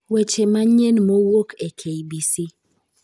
Weche manyien mowuok e kbc